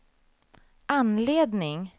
anledning